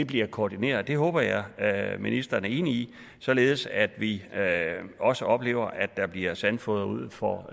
bliver koordineret det håber jeg at ministeren er enig i således at vi også oplever at der bliver sandfodret ud for